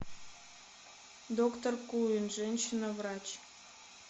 доктор куин женщина врач